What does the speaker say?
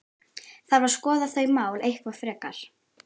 Þarf að skoða þau mál eitthvað frekar?